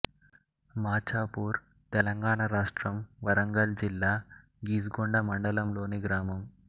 మాచాపూర్ తెలంగాణ రాష్ట్రం వరంగల్ జిల్లా గీసుగొండ మండలం లోని గ్రామం